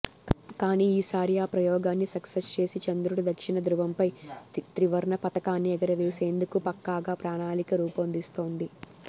కానీ ఈసారి ఆ ప్రయోగాన్ని సక్సెస్ చేసి చంద్రుడి దక్షిణ ధృవంపై త్రివర్ణ పతాకాన్ని ఎగరవేసేందుకు పక్కాగా ప్రణాళిక రూపొందిస్తోంది